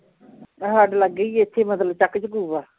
ਆ ਸਾਡੇ ਲਾਗੇ ਈ ਏ ਇੱਥੇ ਈ ਮਤਲਬ ਆ